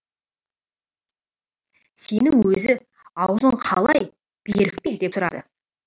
сенің өзі аузың қалай берік пе деп сұрады